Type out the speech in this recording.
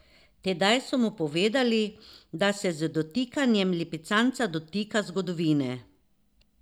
Tedaj so mu povedali, da se z dotikanjem lipicanca dotika zgodovine.